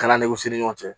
Kala ni kisi ni ɲɔgɔn cɛ